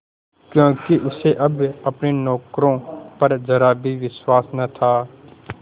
क्योंकि उसे अब अपने नौकरों पर जरा भी विश्वास न था